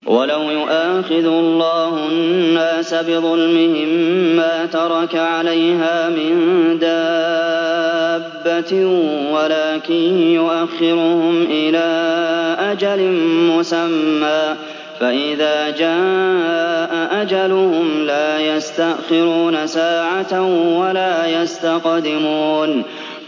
وَلَوْ يُؤَاخِذُ اللَّهُ النَّاسَ بِظُلْمِهِم مَّا تَرَكَ عَلَيْهَا مِن دَابَّةٍ وَلَٰكِن يُؤَخِّرُهُمْ إِلَىٰ أَجَلٍ مُّسَمًّى ۖ فَإِذَا جَاءَ أَجَلُهُمْ لَا يَسْتَأْخِرُونَ سَاعَةً ۖ وَلَا يَسْتَقْدِمُونَ